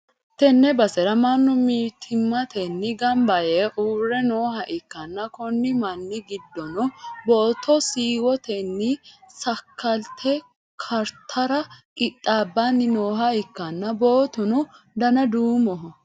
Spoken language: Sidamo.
tenne basera mannu mittimmatenni gamba yee uurre nooha ikkanna, konni manni giddono booto siiwotenni sakkaalte kartara qixxaabbanni nooha ikkanna, bootuno dana duumoho.